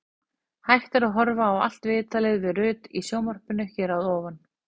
Hægt er að horfa á allt viðtalið við Rut í sjónvarpinu hér að ofan.